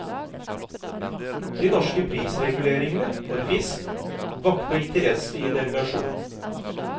De norske prisreguleringene for fisk vakte interesse i delegasjonen.